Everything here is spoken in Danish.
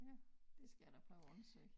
Ja det skal jeg da prøve at undersøge